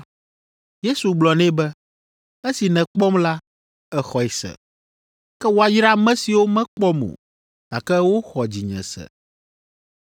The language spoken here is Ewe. Yesu gblɔ nɛ be, “Esi nèkpɔm la, èxɔe se, ke woayra ame siwo mekpɔm o, gake woxɔ dzinye se.”